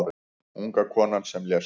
Unga konan sem lést